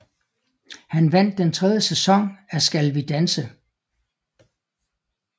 Han vandt den tredje sæson af Skal vi danse